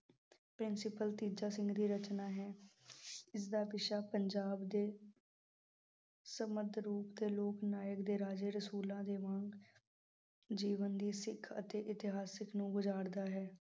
Principal Teja Singh ਦੀ ਰਚਨਾ ਹੈ, ਇਸ ਦਾ ਵਿਸ਼ਾ ਪੰਜਾਬ ਦੇ ਸਮੰਤ ਰੂਪ ਦੇ ਲੋਕ ਨਾਇਕ ਦੇ ਰਾਜੇ ਰਸੂਲਾਂ ਦੇ ਵਾਂਗ, ਜੀਵਨ ਦੀ ਸਿੱਖ ਅਤੇ ਇਤਿਹਾਸਿਕ ਨੂੰ ਹੈ।